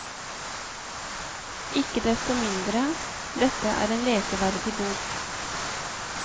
Ikke desto mindre, dette er en leseverdig bok.